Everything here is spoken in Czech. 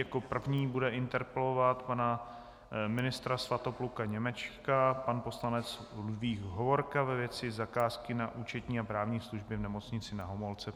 Jako první bude interpelovat pana ministra Svatopluka Němečka pan poslanec Ludvík Hovorka, ve věci zakázky na účetní a právní služby v Nemocnici Na Homolce.